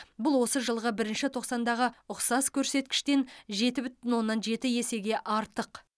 бұл осы жылғы бірінші тоқсандағы ұқсас көрсеткіштен жеті бүтін оннан жеті есеге артық